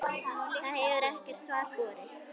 Það hefur ekkert svar borist.